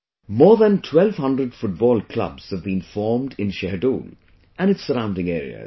More than 1200 football clubs have been formed in Shahdol and its surrounding areas